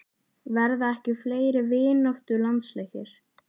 Verða ekki fleiri vináttulandsleikir?